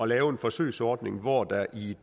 lave en forsøgsordning hvor der i